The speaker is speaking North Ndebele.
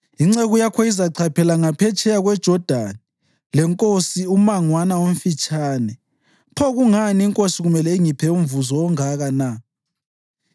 Inceku yakho izachaphela ngaphetsheya kweJodani lenkosi ummangwana omfitshane, pho kungani inkosi kumele ingiphe umvuzo ongaka na?